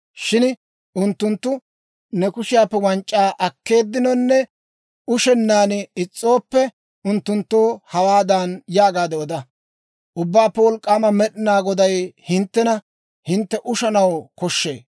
Shin unttunttu ne kushiyaappe wanc'c'aa akkenaaninne ushennaan is's'ooppe, unttunttoo hawaadan yaagaade oda; ‹Ubbaappe Wolk'k'aama Med'inaa Goday hinttena, «Hintte ushanaw koshshee!